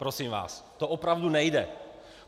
Prosím vás, to opravdu nejde.